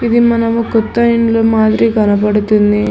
వి మనము కొత్త ఇండ్లు మాదిరి కనబడుతుంది.